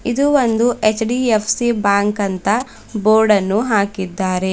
ಇದು ಒಂದು HDFC bank ಅಂತ ಬೋರ್ಡ್ ಅನ್ನು ಹಾಕಿದ್ದಾರೆ.